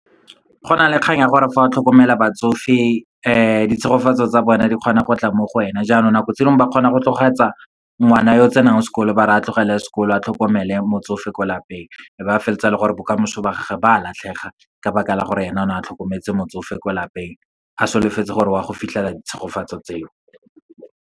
Go na le kganya ya gore fa o tlhokomela batsofe ditshegofatso tsa bona di kgona go tla mo go wena. Jaanong nako tse dingwe, ba kgona go tlogetsa ngwana yo tsenang sekolo, ba re a tlogela sekolo, a tlhokomele motsofe ko lapeng. Be ba felletsa e le gore bokamoso ba gage ba latlhega, ka baka la gore ena o ne a tlhokometse motsofe ko lapeng. A solofetse gore wa go fitlhela tshegofatseng tseo.